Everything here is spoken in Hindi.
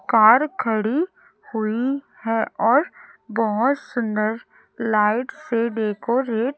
कार खड़ी हुई है और बहोत सुंदर लाइट से डेकोरे--